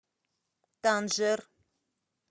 танжер